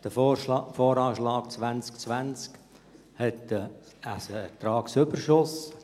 Der VA 2020 hat einen Ertragsüberschuss.